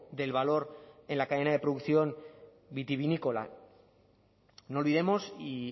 del valor en la cadena de producción vitivinícola no olvidemos y